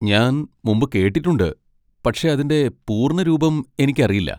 ഞാൻ മുമ്പ് കേട്ടിട്ടുണ്ട്, പക്ഷേ അതിന്റെ പൂർണ്ണരൂപം എനിക്കറിയില്ല.